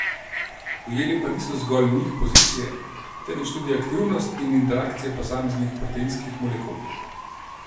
Ujeli pa niso zgolj njih pozicije, temveč tudi aktivnost in interakcijo posameznih proteinskih molekul.